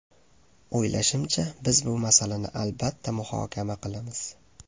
O‘ylashimcha, biz bu masalani albatta muhokama qilamiz.